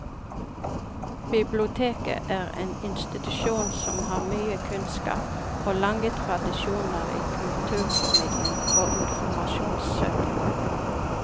Biblioteket er en institusjon som har mye kunnskap og lange tradisjoner i kulturformidling og informasjonssøking.